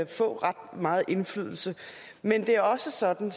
få ret meget indflydelse men det er også sådan